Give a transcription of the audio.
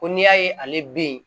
Ko n'i y'a ye ale bɛ yen